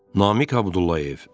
Namiq Abdullayev.